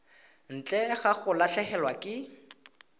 ntle ga go latlhegelwa ke